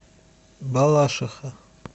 балашиха